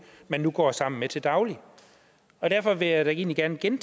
man nu går sammen med til daglig derfor vil jeg da egentlig gerne igen